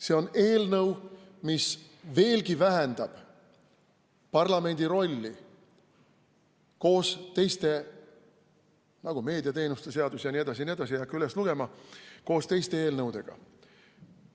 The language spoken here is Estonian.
See on eelnõu, mis veelgi vähendab parlamendi rolli koos teiste eelnõudega, nagu meediateenuste seaduse eelnõu jne, ma ei hakka neid kõiki üles lugema.